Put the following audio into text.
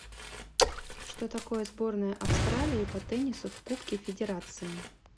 что такое сборная австралии по теннису в кубке федерации